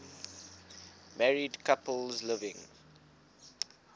married couples living